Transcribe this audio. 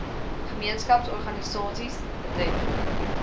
gemeenskaps organisasies betreffende